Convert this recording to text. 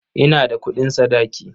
Ina da kuɗin sadaki.